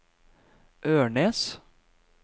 Ørnes